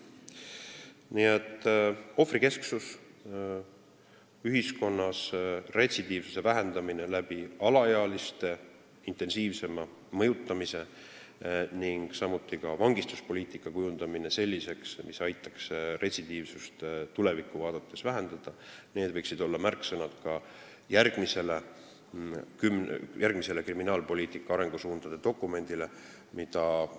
Nii et ohvrikesksus, ühiskonnas retsidiivsuse vähendamine alaealiste intensiivsema mõjutamise abil ning samuti vangistuspoliitika kujundamine selliseks, et see aitaks retsidiivsust tulevikku vaadates vähendada – need võiksid olla märksõnad ka järgmise kriminaalpoliitika arengusuundade dokumendi koostamisel.